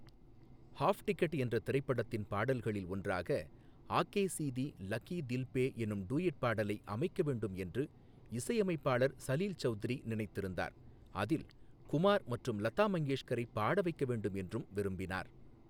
Half ticket என்ற திரைப்படத்தின் பாடல்களில் ஒன்றாக ஆகே சீதீ லகீ தில் பே எனும் டூயட் பாடலை அமைக்க வேண்டும் என்று இசையமைப்பாளர் சலீல் சவுத்ரி நினைத்து இருந்தார், அதில் குமார் மற்றும் லதா மங்கேஷ்கரைப் பாட வைக்க வேண்டும் என்றும் விரும்பினார்.